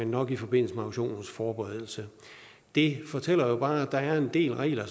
nok i forbindelse med auktionens forberedelse det fortæller jo bare at der er en del regler